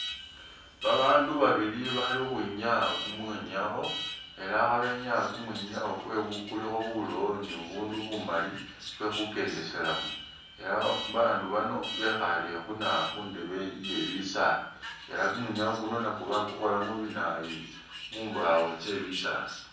Babaandu babili bali ukhwinyaya kumwinyawo ela khabenyaya kumwinyawo kwebu kulikho bulowo ni bubundu bumali bwekhukendeselamo ela bandu bano bekhaale khuna khundebe ye bisaala ela ni kumwinyawo kuno bakukhola mubinayu mumbawo tsye bisaala.